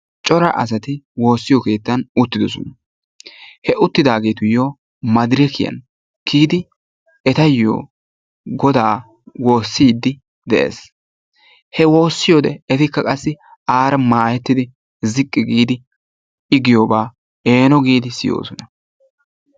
cora asati woossiyo keettan uttidoosona. he uttidaagetuyyo maadirekkiyaan kiyidi etayyo Goda woosside de'ees. i wossiyoode etikka qassi ziqqi giidi i giyooba eeno giidi siyoosona.